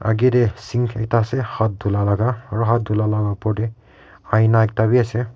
Agae dae sink ekta ase hath dhula laga aro hath dhula laga opor dae aina ekta bhi ase.